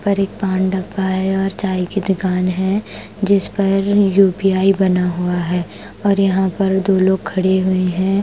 उपर एक पान डब्बा है और चाय की दुकान है जिस पर यू_पी_आई बना हुआ है और यहां पर दो लोग खड़े हुए हैं।